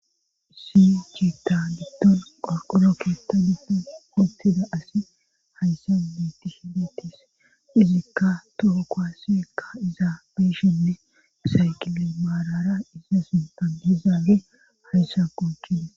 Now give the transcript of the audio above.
Isi ciitta diddon qorqoro keettani ultida asi hayssa miiti hiletis izikka toho koaseekka izabeshinne isayqile maalara iza sintanizaabe hayssa qokina.